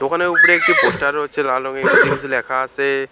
দোকানের উপরে একটি পোস্টার রয়েছে লাল রংয়ের। নিজে কিসু লেখা আসে-এ।